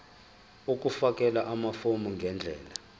ukufakela amafomu ngendlela